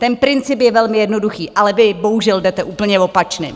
Ten princip je velmi jednoduchý, ale vy bohužel jdete úplně opačným.